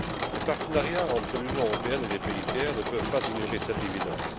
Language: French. Les partenariats entre l'Union européenne et les pays tiers ne peuvent pas ignorer cette évidence.